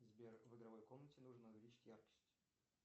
сбер в игровой комнате нужно увеличить яркость